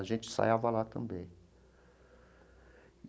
A gente ensaiava lá também.